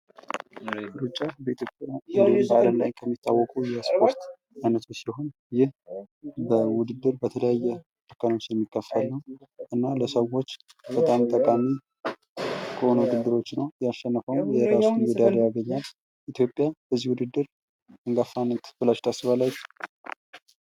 በኢትዮጵያ እንድሁም በአልም ላይ የሚታወቅ የስፖርት አይነት ሲሆን። ለሰዎች ጠቃሚ ውድድር ሲሆን ያሸነፈውም ሜዳልያ ይሸልማል።